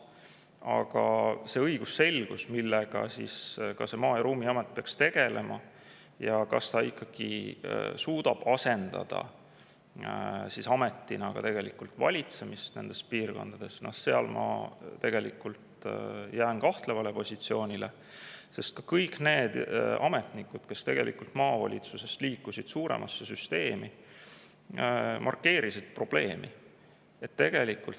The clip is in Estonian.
Aga see õigusselgus, millega Maa- ja Ruumiamet peaks ka tegelema, ja kas ta ikkagi suudab asendada nendes piirkondades – noh, selles ma tegelikult jään kahtlevale positsioonile, sest ka kõik need ametnikud, kes maavalitsusest liikusid suuremasse süsteemi, markeerisid seda probleemi.